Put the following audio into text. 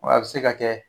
Wa a bɛ se ka kɛ